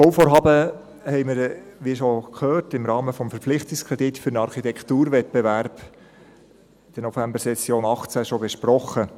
der BaK. Dieses Bauvorhaben haben wir – wie schon gehört – im Rahmen des Verpflichtungskredits für einen Architekturwettbewerb in der Novembersession 2018 bereits besprochen.